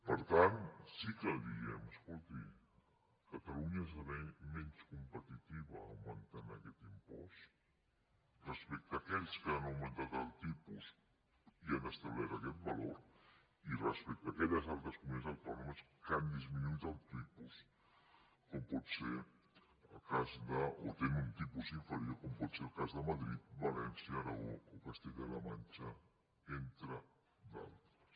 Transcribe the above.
per tant sí que li diem escolti catalunya esdevé menys competitiva augmentant aquest impost respecte a aquells que han augmentat el tipus i han establert aquest valor i respecte a aquelles altres comunitats autònomes que han disminuït el tipus o tenen un tipus inferior com pot ser el cas de madrid valència aragó o castella la manxa entre d’altres